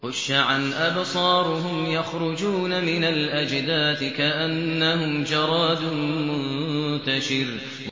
خُشَّعًا أَبْصَارُهُمْ يَخْرُجُونَ مِنَ الْأَجْدَاثِ كَأَنَّهُمْ جَرَادٌ مُّنتَشِرٌ